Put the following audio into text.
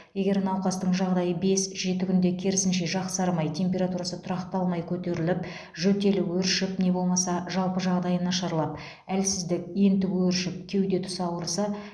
егер науқастың жағдайы бес жеті күнде керісінше жақсармай температурасы тұрақталмай қөтеріліп жөтелі өршіп не болмаса жалпы жағдайы нашарлап әлсіздік ентігу өршіп кеуде тұсы ауырса